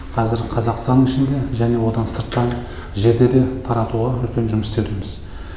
қазір қазақстан ішінде және одан сырттан жерде де таратуға үлкен жұмыс істеудеміз